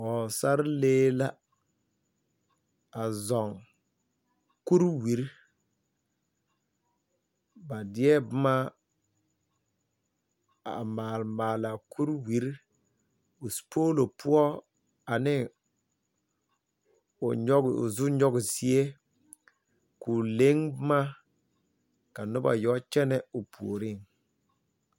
Pɔgesarelee, a zɔŋ kuriwiri. Ba deɛ boma a maale maale a kuriwiri, o sopoolo poɔ ane, o nyɔge o zu nyɔgezie, koo leŋ boma ka noba yɔ kyɛnɛ o puoriŋ.